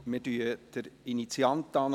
Wir ziehen den Initianten vor.